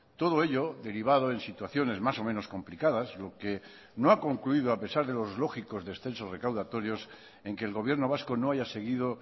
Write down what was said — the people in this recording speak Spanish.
todo ello derivado en situaciones más o menos complicadas lo que no ha concluido a pesar de los lógicos descensos recaudatorios en que el gobierno vasco no haya seguido